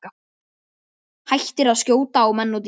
Hættir að skjóta á menn og dýr.